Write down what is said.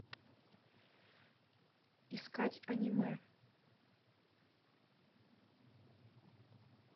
искать аниме